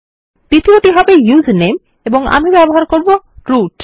দ্বিতীয় হবে ইউজারনেম এবং আমি ব্যবহার করব রুট